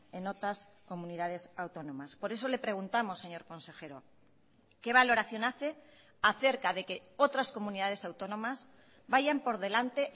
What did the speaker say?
en otras comunidades autónomas por eso le preguntamos señor consejero qué valoración hace acerca de que otras comunidades autónomas vayan por delante